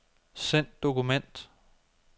Send dokument.